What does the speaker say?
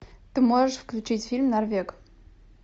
ты можешь включить фильм норвег